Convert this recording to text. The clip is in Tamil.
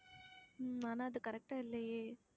உம் ஆனா அது correct ஆ இல்லையே